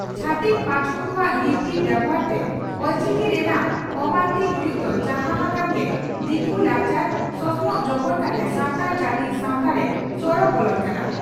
ᱪᱷᱟᱛᱤᱠ ᱯᱟᱴᱚᱠ ᱠᱚᱣᱟᱜ ᱞᱤᱯᱤ ᱵᱮᱵᱷᱟᱨᱛᱮ ᱚᱞᱪᱤᱠᱤ ᱨᱮᱱᱟᱜ ᱚᱢᱟᱱᱚᱛᱤ ᱦᱩᱭᱩᱜ ᱫᱚ ᱡᱟᱦᱟᱸ ᱦᱟᱠᱟᱱ ᱜᱮ ᱫᱤᱠᱩ ᱞᱟᱠᱪᱟᱨ/ᱥᱚᱥᱚᱱᱚᱜ ᱡᱚᱵᱚᱨ ᱠᱟᱛᱮ ᱥᱟᱱᱛᱟᱲ ᱡᱟᱹᱛᱤ ᱥᱟᱣᱛᱟᱨᱮ ᱥᱚᱲᱚ ᱵᱚᱞᱚᱱ ᱠᱟᱱᱟ ᱾